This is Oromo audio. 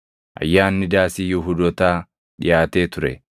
Ayyaanni Daasii Yihuudootaa dhiʼaatee ture.